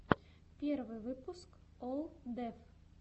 первый выпуск олл деф